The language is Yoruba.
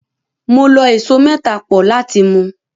Mo lọ ẹso mẹ́ta pọ̀ láti mu.